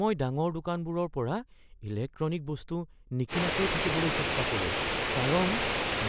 মই ডাঙৰ দোকানবোৰৰ পৰা ইলেক্ট্ৰনিক বস্তু নিকিনাকৈ থাকিবলৈ চেষ্টা কৰোঁ কাৰণ